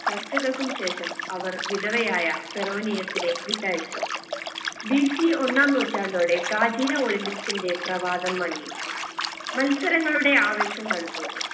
ചർച്ചകൾക്കും ശേഷം അവർ വിധവയായ ഫെറോനിയസിനെ വിട്ടയച്ചു BC ഒന്നാം നൂറ്റാണ്ടോടെ പ്രാചീന olympics ന്റെ പ്രവാതം മങ്ങി മത്സരങ്ങളുടെ ആവേശം തണുത്തു